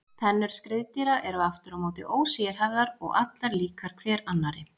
Tennur skriðdýra eru aftur á móti ósérhæfðar og allar líkar hver annarri.